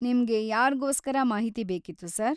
ನಿಮ್ಗೆ ಯಾರ್ಗೋಸ್ಕರ ಮಾಹಿತಿ ಬೇಕಿತ್ತು ಸರ್?